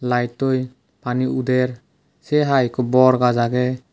lighttoi pani uder sey haai ikko bor gaj agey.